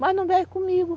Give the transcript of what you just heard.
Mas não vive comigo.